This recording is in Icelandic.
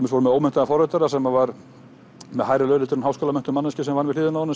með ómenntaðann forritara sem var með hærri laun en háskólamenntuð manneskja sem vann við hliðina á honum